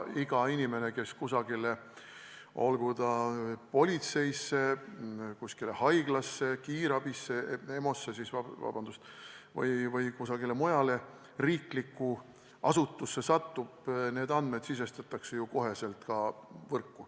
Iga inimese kohta, kes kusagile satub, olgu politseisse, kuskile haiglasse, kiirabisse, EMO-sse või kuhugi mujale riiklikku asutusse, sisestatakse vastavad andmed otsekohe ka võrku.